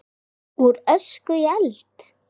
Úr ösku í eld?